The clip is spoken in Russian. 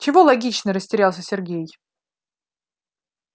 чего логично растерялся сергеич